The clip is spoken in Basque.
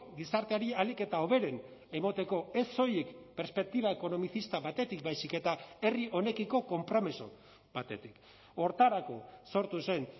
gizarteari ahalik eta hoberen emateko ez soilik perspektiba ekonomizista batetik baizik eta herri honekiko konpromiso batetik horretarako sortu zen